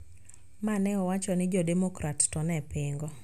Ma ne owacho ni jo-Demokrat to ne pingo